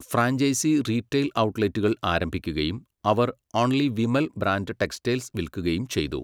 Franchise retail ഔട്ട്ലെറ്റുകൾ ആരംഭിക്കുകയും, അവർ 'ഒൺലി വിമൽ' ബ്രാൻഡ് ടെക്സ്റ്റൈൽസ് വിൽക്കുകയും ചെയ്തു.